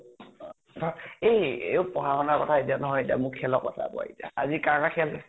অ ধৰ এই অপ পঢ়া শুন কথা নহয়, মোক খেলৰ কথা কোৱা এতিয়া। আজি কাৰ কাৰ খেল